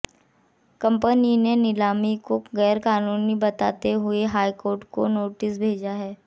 company ने नीलामी को गैरकानूनी बताते हुए हाईकोर्ट में नोटिस भेजा है